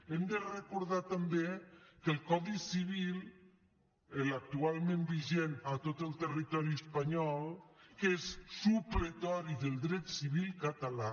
hem de recordar també que el codi civil l’actualment vigent a tot el territori espanyol és supletori del dret civil català